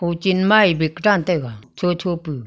ho chenma ee bag dan taiga chocho pu.